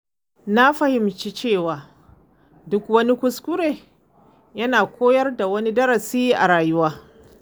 Na fahimci cewa duk wani kuskure yana koyar da wani darasi a rayuwa.